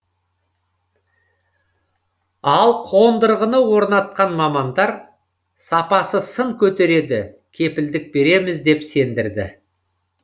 ал қондырғыны орнатқан мамандар сапасы сын көтереді кепілдік береміз деп сендірді